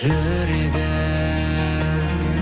жүрегі